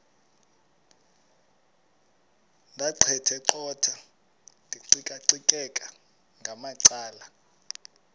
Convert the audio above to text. ndaqetheqotha ndiqikaqikeka ngamacala